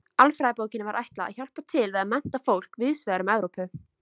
Alfræðibókinni var ætlað að hjálpa til við að mennta fólk víðs vegar um Evrópu.